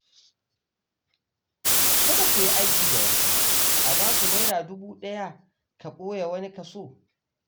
Kada ku yi aiki da wasu, a baku Naira dubu ɗaya ka ɓoye wani kaso.